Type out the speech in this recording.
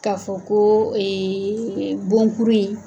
Ka fɔ koo bon kuru ye